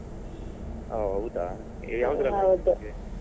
ಓಹ್ ಹೌದಾ ಯಾವುದ್ರಲ್ಲಿ ಆದದ್ದು ನಿಮಗೆ?